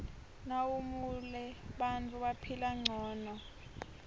nawumuale bantfu baphila ngcono